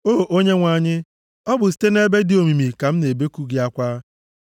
O Onyenwe anyị, ọ bụ site nʼebe dị omimi ka m na-ebeku gị akwa.